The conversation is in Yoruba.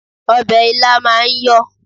Ọbẹ̀ ilá máa ń yọ̀